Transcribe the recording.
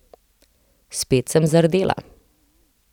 Spet sem zardela.